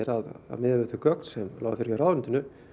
að miðað við þau gögn sem lágu fyrir hjá ráðuneytinu